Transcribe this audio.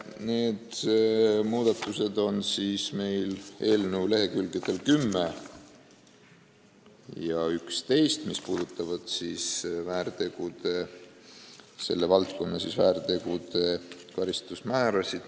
Need muudatused on kirjas eelnõu lehekülgedel 10 ja 11 ning need puudutavad selle valdkonna väärtegude karistusmäärasid.